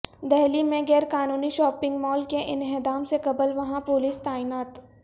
دہلی میں غیرقانونی shopping mall کے انہدام سے قبل وہاں پولیس تعینات